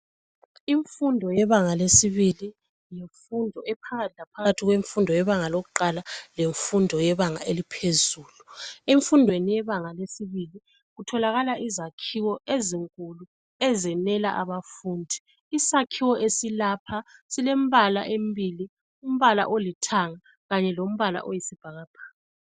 Imfundo yebanga lesibili yimfundo ephakathi laphakathi kwemfundo yebanga lokuqala lemfundo yebanga eliphezulu. Emfundweni yebanga lesibili kutholakala izakhiwo ezinkulu ezenela abafundi. Isakhiwo esilapha silembala emibili. Umbala olithanga Kanye lombala oyisibhakabhaka.